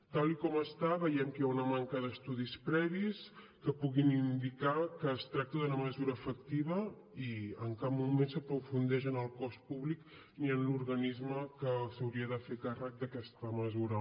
tal com està veiem que hi ha una manca d’estudis previs que puguin indicar que es tracta d’una mesura efectiva i en cap moment s’aprofundeix en el cost públic ni en l’organisme que s’hauria de fer càrrec d’aquesta mesura